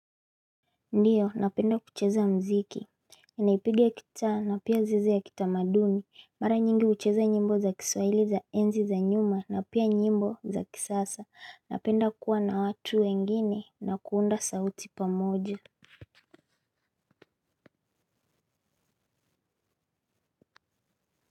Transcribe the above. Ndiyo napenda kucheza mziki ninaipiga gitaa na pia zizi ya kitamaduni mara nyingi hucheza nyimbo za kiswahili za enzi za nyuma na pia nyimbo za kisasa napenda kuwa na watu wengine na kuunda sauti pamoja.